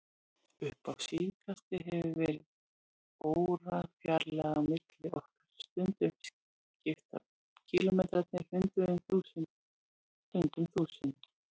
Upp á síðkastið hefur verið órafjarlægð á milli okkar, stundum skipta kílómetrarnir hundruðum, stundum þúsundum.